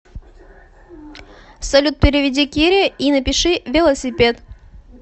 салют переведи кире и напиши велосипед